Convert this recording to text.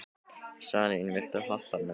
Salín, viltu hoppa með mér?